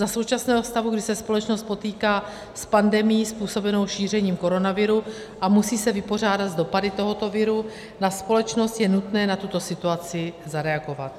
Za současného stavu, kdy se společnost potýká s pandemií způsobenou šířením koronaviru a musí se vypořádat s dopady tohoto viru na společnost, je nutné na tuto situaci zareagovat.